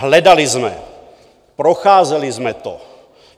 Hledali jsme, procházeli jsme to.